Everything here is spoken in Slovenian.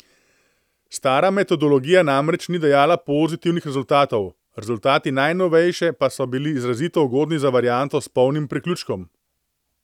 Stara metodologija namreč ni dajala pozitivnih rezultatov, rezultati najnovejše pa so bili izrazito ugodni za varianto s polnim priključkom.